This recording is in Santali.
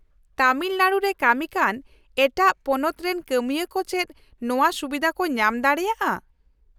-ᱛᱟᱢᱤᱞᱱᱟᱲᱩ ᱨᱮ ᱠᱟᱹᱢᱤᱠᱟᱱ ᱮᱴᱟᱜ ᱯᱚᱱᱚᱛᱨᱮᱱ ᱠᱟᱹᱢᱤᱭᱟᱹ ᱠᱚ ᱪᱮᱫ ᱱᱚᱶᱟᱹ ᱥᱩᱵᱤᱫᱷᱟ ᱠᱚ ᱧᱟᱢ ᱫᱟᱲᱮᱭᱟᱜᱼᱟ ?